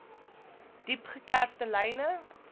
diep gekerfde lyne